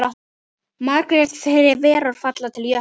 Margar þverár falla til Jöklu.